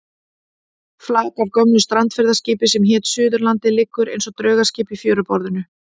Flak af gömlu strandferðaskipi sem hét Suðurlandið liggur eins og draugaskip í fjöruborðinu.